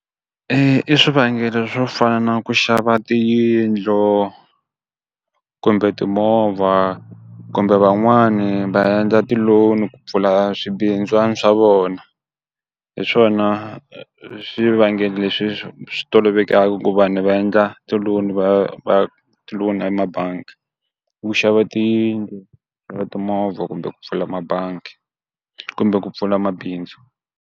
i swivangelo swo fana na ku xava tiyindlo kumbe timovha kumbe van'wani va endla ti-loan ku pfula swibindzwani swa vona, hi swona swivangelo leswi swi tolovelekaku ku vanhu va endla ti-loan va va ti-loan emabangi, wu xava tiyindlu na timovha kumbe ku pfula mabangi kumbe ku pfula mabindzu.